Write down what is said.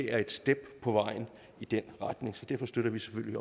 er et skridt på vejen i den retning så derfor støtter vi selvfølgelig